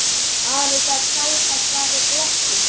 Ari gat tæpast varist glotti.